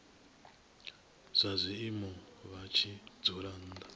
zwazwino vha tshi dzula nnḓa